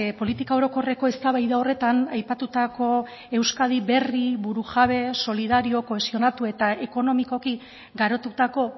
politika orokorreko eztabaida horretan aipatutako euskadi berri burujabe solidario kohesionatu eta ekonomikoki garatutako